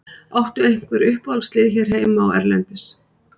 Áttu einhver uppáhaldslið hér heima og erlendis?